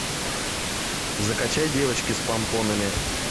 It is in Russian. закачай девочки с помпонами